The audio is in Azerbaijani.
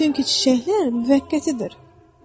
Çünki çiçəklər müvəqqətidir.